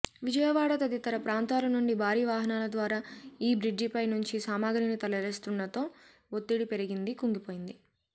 విజయవాడ తదితర ప్రాంతాల నుండి భారీ వాహనాల ద్వారా ఈ బ్రిడ్జిపై నుంచి సామగ్రిని తరలిస్తుండడంతో ఒత్తిడి పెరిగి కుంగిపోయింది